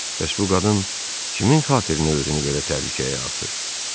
Bəs bu qadın kimin xatirinə özünü belə təhlükəyə atır?